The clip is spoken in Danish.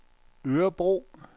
Örebro